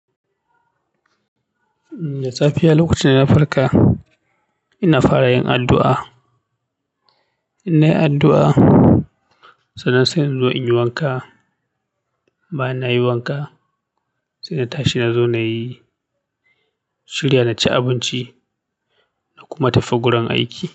Da safiya lokacin da na farka, ina fara yin addu'a. Ina yin addu'a, sannan sai in zo in yi wanka. Bayan nayi wanka, sai na tashi na zo na yi shirya na ci abinci na kuma tafi gurin aiki.